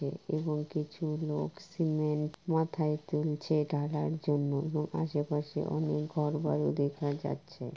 এবং কিছু লোক সিমেন্ট মাথায় তুলছে ঢালার জন্য এবং আশে পাশে অনেক ঘর বাড়ি দেখা যাচ্ছে।